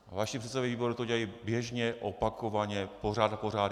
Vaši předsedové výborů to dělají běžně, opakovaně, pořád a pořád.